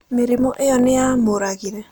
Mĩrimũ ĩyo nĩ yamũragire?